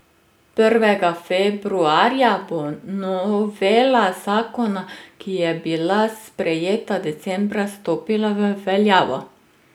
Prvega februarja bo novela zakona, ki je bila sprejeta decembra, stopila v veljavo.